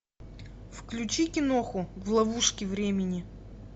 включи киноху в ловушке времени